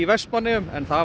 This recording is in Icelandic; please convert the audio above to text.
Vestmannaeyjum það